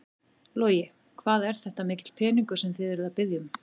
Logi: Hvað er þetta mikill peningur sem þið eruð að biðja um?